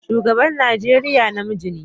Shugaban Najeriya namiji ne.